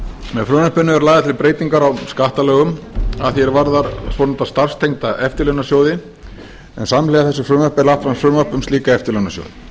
með frumvarpinu eru lagðar til breytingar á skattalögum að því er varðar svonefnda starfstengda eftirlaunasjóði en samhliða þessu frumvarpi er lagt fram frumvarp um slíka eftirlaunasjóði